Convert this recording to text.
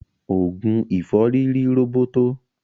Ogun ìfọ́rí ri roboto.